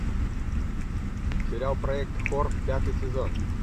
сериал проект хор пятый сезон